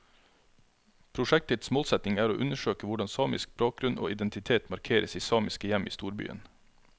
Prosjektets målsetning er å undersøke hvordan samisk bakgrunn og identitet markeres i samiske hjem i storbyen.